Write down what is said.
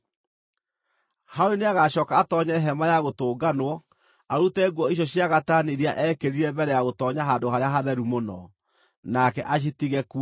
“Harũni nĩagacooka atoonye Hema-ya-Gũtũnganwo arute nguo icio cia gatani iria eekĩrire mbere ya gũtoonya Handũ-harĩa-Hatheru-Mũno, nake acitige kuo.